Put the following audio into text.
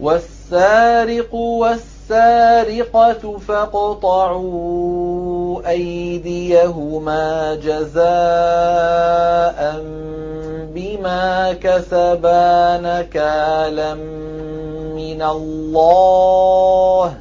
وَالسَّارِقُ وَالسَّارِقَةُ فَاقْطَعُوا أَيْدِيَهُمَا جَزَاءً بِمَا كَسَبَا نَكَالًا مِّنَ اللَّهِ ۗ